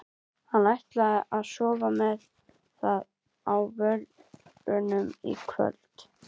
Hann ætlar að sofna með það á vörunum í kvöld.